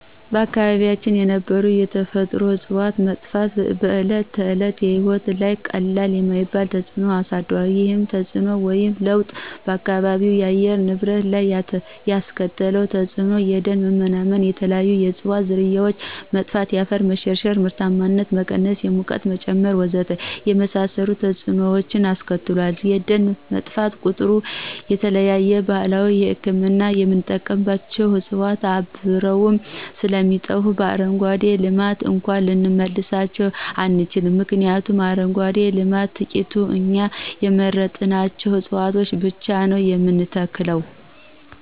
በአካባቢያችን የነበሩ የተፈጥሮ ዕፅዋት መጥፋት በዕለተ ተዕለት ሕይወታችን ላይ ቀላል የማይባል ተፅዕኖ አሳድሯል። ይህም ተፅዕኖ ወይም ለውጥ በአካባቢው የአየር ንብረት ላይ ያስከተለው ተፅዕኖ የደን መመናመን፣ የተለያዩ የዕፅዋት ዝርያዎች መጥፋት፣ የአፈር መሸርሸር፣ የምርታማነት መቀነስ፣ የሙቀት መጨመር ወዘተ የመሳሰሉትን ተፅዕኖዎች አስከትሏል። ደን በጠፋ ቁጥር ለተለያዩ ባህላዊ ህክምና የምንጠቀምባቸው ዕፅዋት አብረው ስለሚጠፉ በአረንጓዴ ልማት እንኳን ልንመልሳቸው አንችልም ምክንያቱም በአረንጓዴ ልማት ትቂት እኛ የመረጥናቸውን ዕፅዋቶች ብቻ ነው የምንተክለው።